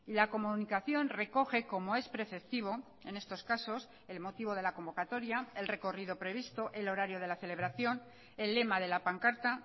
la comunicación recoge como es preceptivo en estos casos el motivo de la convocatoria el recorrido previsto el horario de la celebración el lema de la pancarta